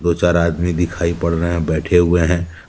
वो चार आदमी दिखाई पड़ रहे हैं बैठे हुए हैं।